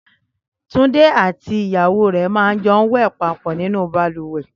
Túndé àti ìyàwó rẹ̀ máa ń jọ wẹ̀ papọ̀ nínú balùwẹ̀